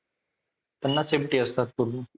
त्यांना safety असतं पूर्ण.